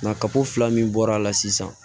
Nka kapo fila min bɔra a la sisan